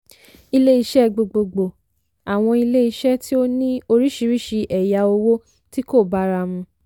ilé-iṣẹ́ gbogbogbò - àwọn ilé-iṣẹ́ tí ó ní oríṣiríṣi ẹ̀yà òwò tí kò bára mu.